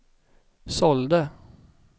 sålde